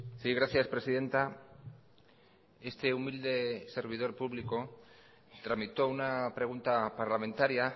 sí gracias presidenta este humilde servidor público tramitó una pregunta parlamentaria